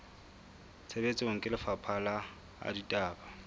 tshebetsong ke lefapha la ditaba